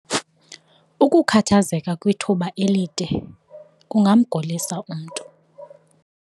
Ukukhathazeka kwithuba elide kungamgulisa umntu.